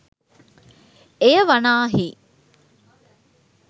එය වනාහි